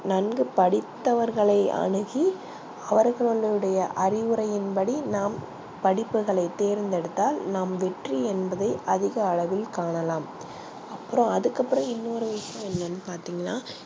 நன்கு படித்தவர்களை அனுகி அவர்களுடைய அறிவுரையின் நாம் படிப்பு கலை தேர்தெடுத்தால் வெற்றி என்பதை அதிக அளவில் காணலாம அப்றம் அதுக்கு அப்றம் இன்னொரு விஷயம் என்னனு பாத்திங்கனா